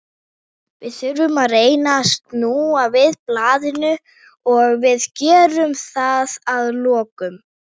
Við þurfum að reyna að snúa við blaðinu og við gerum það að lokum.